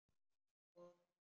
Og þessi?